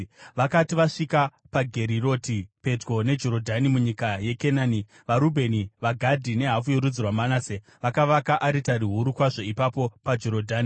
Vakati vasvika paGeriroti pedyo neJorodhani munyika yeKenani, vaRubheni, vaGadhi nehafu yorudzi rwaManase vakavaka aritari huru kwazvo ipapo paJorodhani.